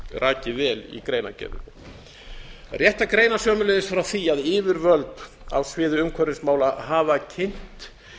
rakið vel í greinargerðinni það er rétt að greina sömuleiðis frá því að yfirvöld á sviði umhverfismála hafa kynnt